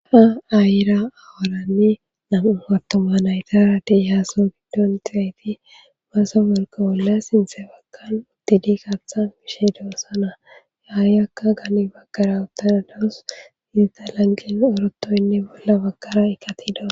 ha ayira aworanne nam7u attoma naytara de yhaaso biddon xizayti baasa wolqa bolla sinthe baggan uttidi kathan gishe doossana yaayakka gani baggara uttanadawus sinta lanqen orotoynne bolla baggara ikatidas